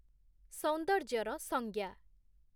ସୌନ୍ଦର୍ଯ୍ୟର ସଂଜ୍ଞା